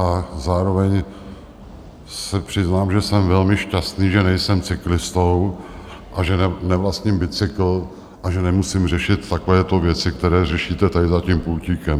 A zároveň se přiznám, že jsem velmi šťastný, že nejsem cyklistou a že nevlastním bicykl a že nemusím řešit takovéto věci, které řešíte tady za tím pultíkem.